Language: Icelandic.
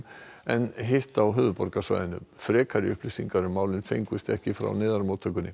en hitt á höfuðborgarsvæðinu frekari upplýsingar um málin fengust ekki frá